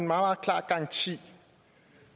meget klar garanti